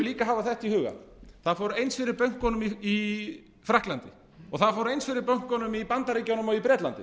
líka hafa þetta í huga það fór eins fyrir bönkunum í frakklandi og það fór eins fyrir bönkunum í bandaríkjunum og í bretlandi